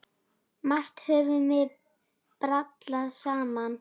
Margt höfum við brallað saman.